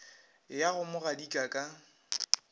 ya go mo gadika ka